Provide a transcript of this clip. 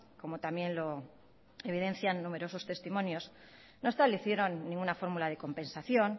como también lo evidencian numerosos testimonios no establecieron ninguna fórmula de compensación